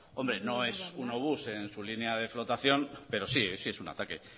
hombre no es un obús en su línea de flotación pero sí sí es un ataque